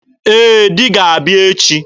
Ee, Di ga-abịa echi.